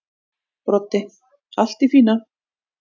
Broddi: Allt í fína.